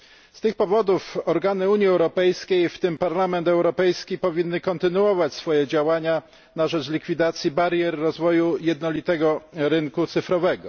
Z tych powodów organy Unii Europejskiej, w tym Parlament Europejski, powinny kontynuować swoje działania na rzecz likwidacji barier w rozwoju jednolitego rynku cyfrowego.